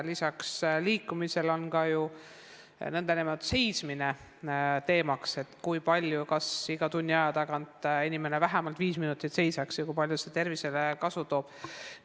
Lisaks liikumisele on ka ju teemaks seismine, et iga tunni aja tagant inimene vähemalt viis minutit seisaks ja kui palju see tervisele kasu toob.